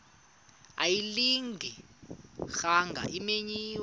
ayilinga gaahanga imenywe